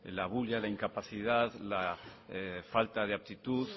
la bulla la incapacidad la falta de aptitud